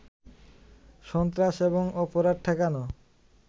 সন্ত্রাস এবং অপরাধ ঠেকানো